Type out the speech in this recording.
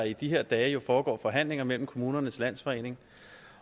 i de her dage foregår forhandlinger mellem kommunernes landsforening